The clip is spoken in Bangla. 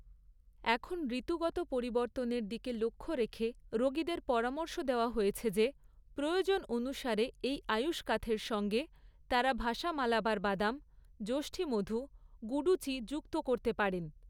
এখন ঋতুগত পরিবর্তনের দিকে লক্ষ্য রেখে রোগীদের পরামর্শ দেওয়া হয়েছে যে প্রয়োজন অনুসারে এই আয়ুষকাথের সঙ্গে তারা ভাসা মালাবার বাদাম, যষ্ঠীমধু, গুডুচি যুক্ত করতে পারেন।